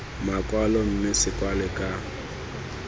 makwalo mme se kwalwe ka